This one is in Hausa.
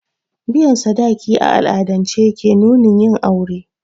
Biyan sadaki a al'adance ke nunin yin aure